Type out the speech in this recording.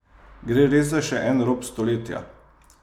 Gre res za še en rop stoletja?